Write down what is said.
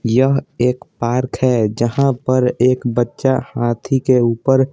यह एक पार्क है जहाँ पर एक बच्चा हाथी के ऊपर --